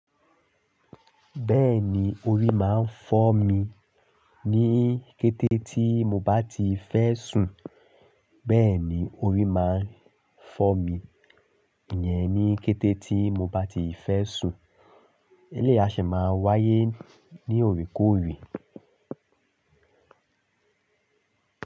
Bẹ́ẹ̀ni orí máa ń fọ́ mi ní kété tí mo bá ti fẹ́ sùn. Bẹ́ẹ̀ni orí máa ń fọ́ mi yẹn ní kété tí mo bá ti fẹ́ sùn. Eléy àṣẹ máa ń wáyé ní òrekòre.